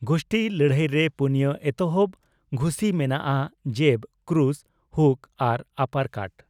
ᱜᱷᱩᱥᱴᱤ ᱞᱟᱹᱲᱦᱟᱹᱭ ᱨᱮ ᱯᱩᱱᱭᱟᱹ ᱮᱛᱚᱦᱚᱵ ᱜᱷᱩᱥᱤ ᱢᱮᱱᱟᱜᱼᱟ ᱡᱮᱵᱽ, ᱠᱨᱩᱥ, ᱦᱩᱠ ᱟᱨ ᱟᱯᱟᱨᱠᱟᱴ ᱾